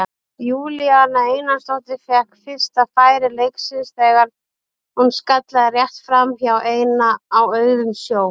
Júlíana Einarsdóttir fékk fyrsta færi leiksins þegar hún skallaði rétt framhjá ein á auðum sjó.